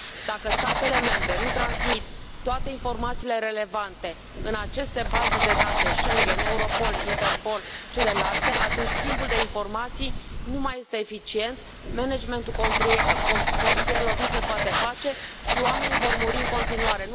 Dacă statele membre nu transmit toate informațiile relevante în aceste baze de date Schengen, Europol, Interpol, celelalte, atunci schimbul de informații nu mai este eficient, managementul frontierelor nu se poate face și oamenii vor muri în continuare.